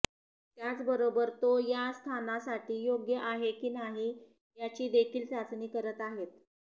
त्याचबरोबर तो या स्थानासाठी योग्य आहे कि नाही याची देखील चाचणी करत आहेत